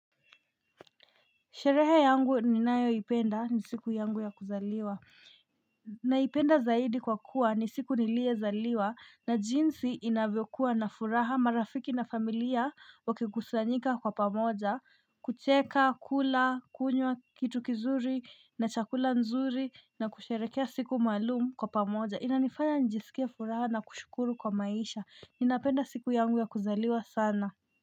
Sherehe yangu ni nayoipenda ni siku yangu ya kuzaliwa. Naipenda zaidi kwa kuwa ni siku niliezaliwa na jinsi inavyokua na furaha marafiki na familia wakigusanyika kwa pamoja kucheka, kula, kunywa kitu kizuri na chakula nzuri na kusherekea siku maalum kwa pamoja. Inanifanya njisikie furaha na kushukuru kwa maisha. Ninapenda siku yangu ya kuzaliwa sana.